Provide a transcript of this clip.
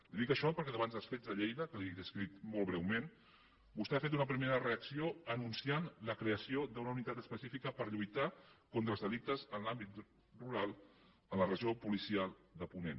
li dic això perquè davant dels fets de lleida que li he descrit molt breument vostè ha fet una primera reacció anunciant la creació d’una unitat específica per lluitar contra els delictes en l’àmbit rural en la regió policial de ponent